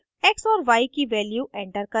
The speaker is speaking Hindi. x और y की value enter करें